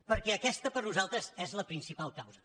perquè aquesta per a nosaltres és la principal causa